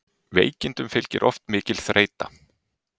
Veikindum fylgir oft mikil þreyta.